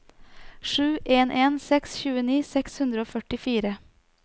sju en en seks tjueni seks hundre og førtifire